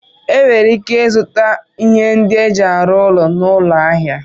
Enwere ike ịzụta ihe ndị eji arụ ụlọ n'ahịa